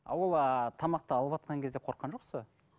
ол ыыы тамақты алыватқан кезде қорыққан жоқсыз ба